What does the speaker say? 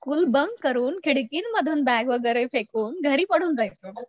school bunk करून खिडकीमधुन bag वगैरे फेकुन घरी पळून जायचो